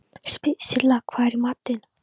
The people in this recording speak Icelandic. Silla, hvað er í matinn?